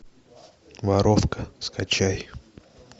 воровка скачай